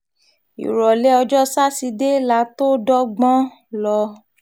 ìrọ̀lẹ́ ọjọ́ sátidé la tóó dọ́gbọ́n um lọ